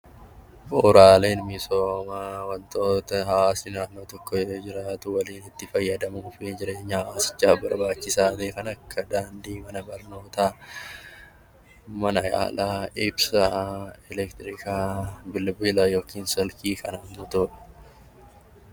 Bu'uuraaleen misoomaa wantoota hawaasni waliin itti fayyadamuu fi jireenya hawaasichaaf barbaachisaa ta'e kan akka daandii, mana barnootaa, mana yaalaa, ibsaa, elektiriika, bilbilaa fi kanneen kana fakkaatanidha